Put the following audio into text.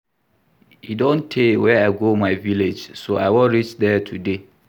E don tey wey I go my village so I wan reach there today